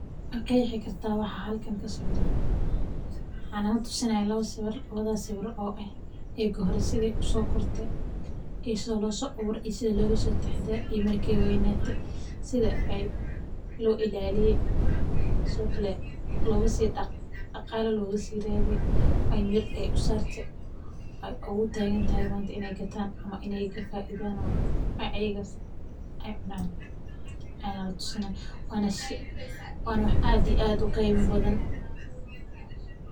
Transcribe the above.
Ma qeexi kartaa waxa halkan ka socda, waxan nala tusini haya laawa siwir, laawaadhas siwir o eh eggi horee se usokirtee, iyo sithi lo so aburee iyo sithi logataxadaree, iyo marki ee weynatee sithi lo ilaliye, sithokale sithii daqala loga si radhiyo ee miir u sarte ayey ogu tagantahay manta in ee gatan, ama ee kafaidhan o ayagas eecunan aya latusini haya, wana wax aad iyo aad u qeyma badan.